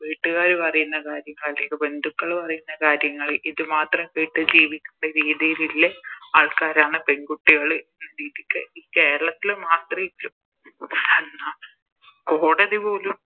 വീട്ടുകാര് പറയുന്ന കാര്യങ്ങൾ അല്ലെങ്കി ബന്ധുക്കൾ പറയുന്ന കാര്യങ്ങള് ഇത് മാത്രം കേട്ട് ജീവിക്കണ്ട രീതിലുള്ള ആൾക്കാരാണ് പെൺകുട്ടികള് ഈ കേരളത്തില് മാത്രേ കോടതി പോലും